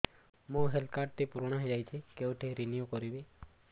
ମୋ health card ଟି ପୁରୁଣା ହେଇଯାଇଛି କେଉଁଠି ରିନିଉ କରିବି